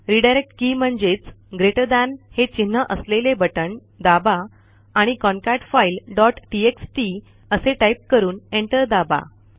redirect key म्हणजेच greater than GT हे चिन्ह असलेले बटण दाबा आणि कॉन्केटफाईल डॉट टीएक्सटी असे टाईप करून एंटर दाबा